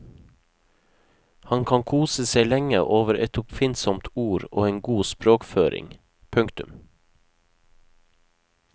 Han kan kose seg lenge over et oppfinnsomt ord og en god språkføring. punktum